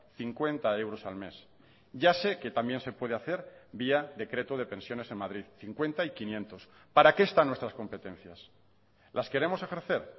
cincuenta euros al mes ya sé que también se puede hacer vía decreto de pensiones en madrid cincuenta y quinientos para qué están nuestras competencias las queremos ejercer